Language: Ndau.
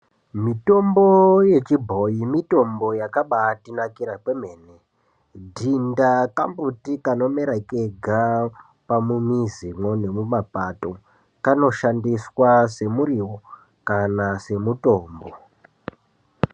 Mitombo yechibhoyi mitombo yakaba atinakira kwemene dhinda kambuti kanomera kega pamumizimwo nemumapato kanoshandiswa semuriwo kana semutombo.